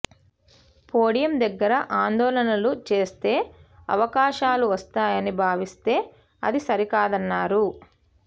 podium దగ్గర ఆందోళనలు చేస్తే అవకాశాలు వస్తాయని భావిస్తే అది సరికాదన్నారు